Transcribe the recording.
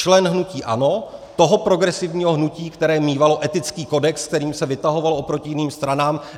Člen hnutí ANO, toho progresivního hnutí, které mívalo etický kodex, kterým se vytahovalo oproti jiným stranám.